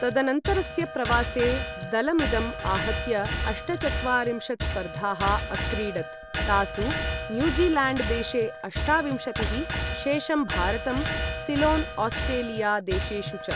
तदनन्तरस्य प्रवासे, दलमिदं आहत्य अष्टचत्वारिंशत् स्पर्धाः अक्रीडत्, तासु न्यूज़ील्याण्ड् देशे अष्टाविंशतिः, शेषं भारतं, सिलोन्, आस्ट्रेलिया देशेषु च।